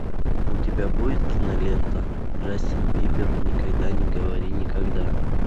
у тебя будет кинолента джастин бибер никогда не говори никогда